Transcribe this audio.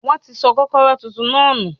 Wọ́n ti sọ kọ́kọ́rọ́ tuntun náà nù.